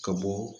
Ka bɔ